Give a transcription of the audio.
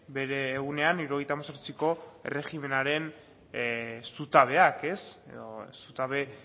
bere egunean hirurogeita hemezortziko erregimenaren zutabeak edo zutabe